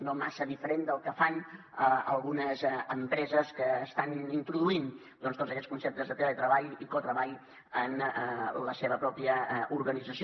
no massa diferent del que fan algunes empreses que estan introduint tots aquests conceptes de teletreball i cotreball en la seva pròpia organització